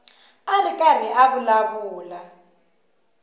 a ri karhi a vulavula